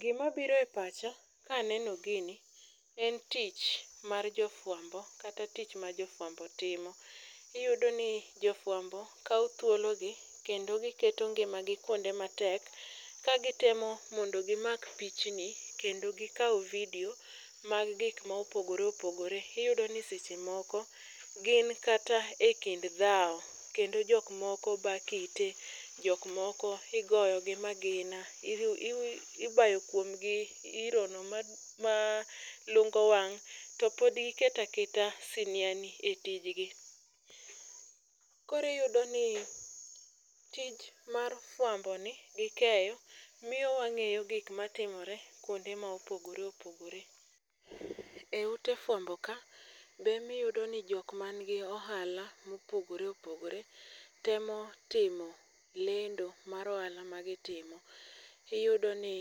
Gimabiro epacha kaneno gini en tich mar jofuambo kata tich ma jofuambo timo. Iyudoni jofuambo kao thuologi kendo giketo ngimagi kuonde matek ka gitemo mondo gimak pichni kendo gikau vidio mag gik maopogore opogore. Iyudoni sechemoko gin kata e kind dhao kendo jokmoko ba kite, jok moko igoyo gi magina. Ibayo kuomgi irono malungo wang' to pod giketaketa siniani e tijgi. Koro iyudoni tich mar fuamboni gi keyo miyo wang'eyo gik matimore kuonde ma opogore opogore.E ute fuambo ka be emiyudoni jok manigi ohala mopogore opogore temo timo lendo mar ohala ma gitimo. Iyudoni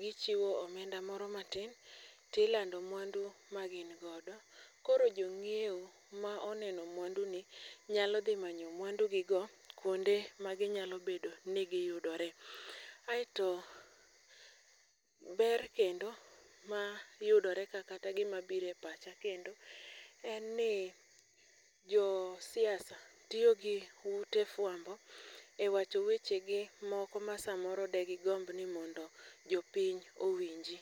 gichiwo omenda moro matin tilando muandu magin godo. Koro jong'ieo ma oneno muanduni nyalo dhi manyo muandu gigio kuonde ma ginyalobedo ni giyudore. Ae to ber kendo mayudore ka kata gimabire pacha kendo en ni josiasa tiyo gi ute fuambo e wacho wechegi moko ma samoro de gigomb ni mondo jopiny owinji.